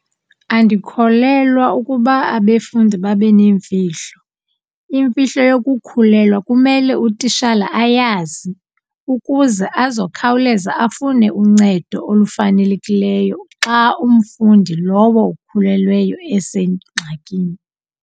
Andikholelwa ukuba abefundi babe neemfihlo. Imfihlo yokukhulelwa kumele utitshala ayazi ukuze azokhawuleza afuna uncedo olufanelekileyo xa umfundi lowo ukhulelweyo esengxakini.